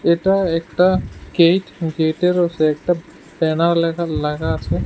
এটা একটা gate gate এর পাশে একটা ব্যানার লেখা লাগা আছে।